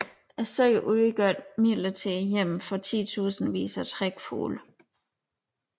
Søerne udgør et midlertidigt hjem for titusindvis af trækfugle